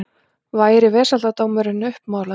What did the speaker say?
Væri vesaldómurinn uppmálaður.